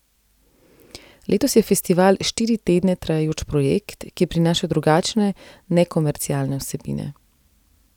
Letos je festival štiri tedne trajajoč projekt, ki prinaša drugačne, nekomercialne vsebine.